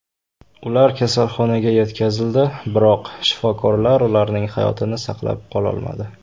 Ular kasalxonaga yetkazildi, biroq shifokorlar ularning hayotini saqlab qololmadi.